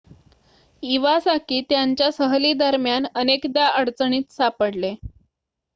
Iwasaki त्यांच्या सहली दरम्यान अनेकदा अडचणीत सापडले